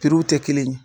w tɛ kelen ye